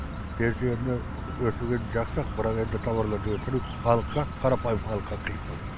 пенсияны өсіргені жақсы ақ бірақ енді тауарларды өсіру халыққа қарапайым халыққа қиындау